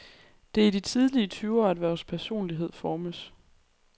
Det er i de tidlige tyvere, at vores personlighed formes.